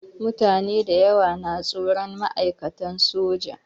Mutane dayawa na tsoron ma'aikatan soja.